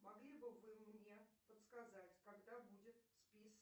могли бы вы мне подсказать когда будет список